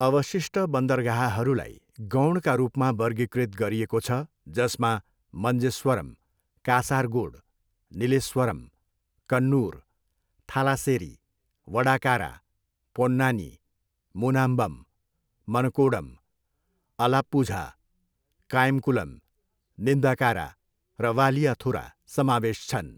अवशिष्ट बन्दरगाहहरूलाई गौणका रूपमा वर्गीकृत गरिएको छ जसमा मन्जेस्वरम, कासारगोड, निलेस्वरम, कन्नुर, थालासेरी, वडाकारा, पोन्नानी, मुनाम्बम, मनकोडम, अलाप्पुझा, कायमकुलम, निन्दकारा र वालियाथुरा समावेश छन्।